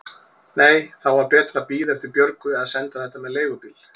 Nei, þá var betra að bíða eftir Björgu eða senda þetta með leigubíl.